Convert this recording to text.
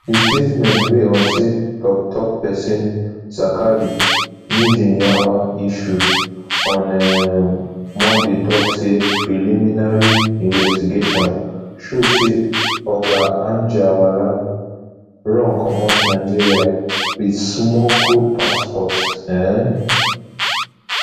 di statement wey onsa toktok pesin zakari mijinyawa issue on um monday tok say preliminary investigation show say oga anjarwalla run comot nigeria wit smuggled passport um